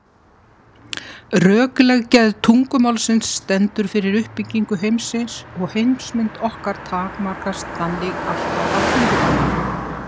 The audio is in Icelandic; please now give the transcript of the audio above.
Rökleg gerð tungumálsins stendur fyrir uppbyggingu heimsins og heimsmynd okkar takmarkast þannig alltaf af tungumálinu.